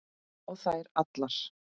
Og þær allar.